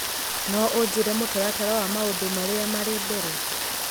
No ũnjĩĩre mũtaratara wa maũndũ marĩa marĩ mbere?